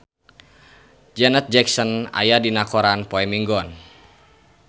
Janet Jackson aya dina koran poe Minggon